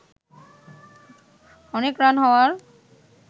অনেক রান হওয়ার